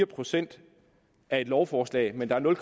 procent af et lovforslag men der er nul